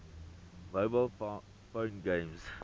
mobile phone games